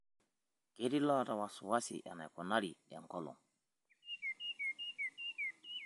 Ketii loota wasiwasi enaikunari enkolong'.